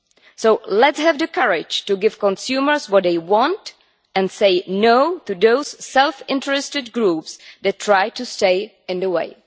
So let us have the courage to give consumers what they want, and say no' to those self interested groups that try to stand in the way.